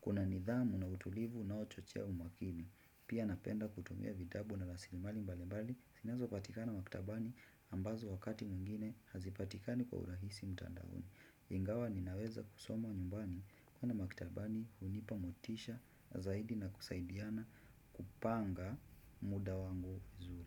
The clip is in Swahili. kuna nidhamu na utulivu unaochochea umakini. Pia napenda kutumia vitabu na rasilimali mbalimbali zinazopatikana maktabani ambazo wakati mwingine hazipatikani kwa urahisi mtandaoni. Ingawa ninaweza kusoma nyumbani kwenda maktabani hunipa motisha zaidi na kusaidiana kupanga muda wangu vizuri.